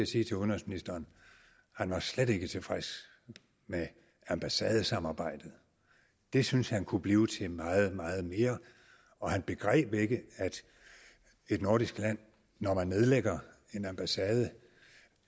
sige til udenrigsministeren han var slet ikke tilfreds med ambassadesamarbejdet det syntes kan kunne blive til meget meget mere og han begreb ikke at et nordisk land når man nedlægger en ambassade